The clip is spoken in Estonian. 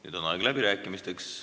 Nüüd on aeg läbirääkimisteks.